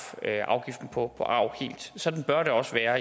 afgiften på arv helt sådan bør det også være